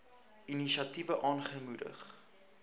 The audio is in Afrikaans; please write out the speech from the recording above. inisiatiewe aangemoedig